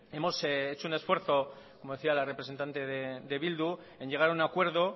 hemos hecho un esfuerzo como decía la representante de bildu en llegar a un acuerdo